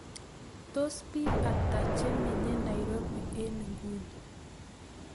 Tos' piik ata che menye Nairobi eng' nguno